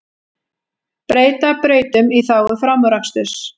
Breyta brautum í þágu framúraksturs